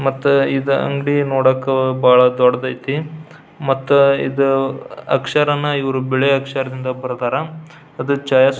ಮತ್ತ ಇದ ಅಂಗಡಿ ನೋಡಾಕ ಬಹಳ ದೊಡ್ಡದೈತಿ ಮತ್ತ ಇದ ಅಕ್ಷರವನ್ನ ಇವ್ರು ಬಿಳಿ ಅಕ್ಷರದಿಂದ ಬರ್ದರ ಅದ --